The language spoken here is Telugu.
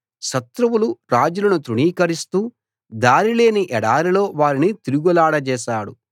శత్రువులు రాజులను తృణీకరిస్తూ దారిలేని ఎడారిలో వారిని తిరుగులాడజేశాడు